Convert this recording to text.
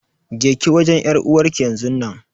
Jeki wajen ƴar'uwarki yanzun nan.